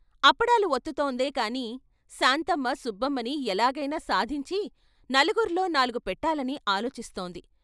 అప్పడాలు వత్తుతోందే కాని శాంతమ్మ సుబ్బమ్మని ఎలాగైనా సాధించి నలుగుర్లో నాలుగు పెట్టాలని ఆలోచిస్తోంది.